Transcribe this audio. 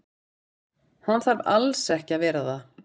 Hann þarf alls ekki að vera það.